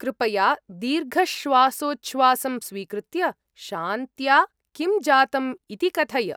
कृपया दीर्घश्वासोच्छ्वासं स्वीकृत्य, शान्त्या, किं जातम् इति कथय।